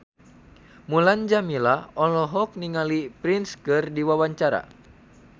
Mulan Jameela olohok ningali Prince keur diwawancara